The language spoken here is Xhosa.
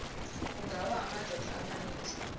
kungawa amadoda amaninzi